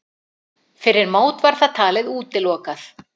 Fyrir mót var það talið útilokað.